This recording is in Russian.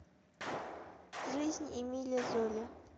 жизнь эмиля золя